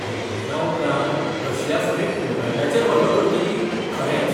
युक्रेना उपरांत रशिया फुडें पोलंडाचेर हल्लो करतली, खरेंच?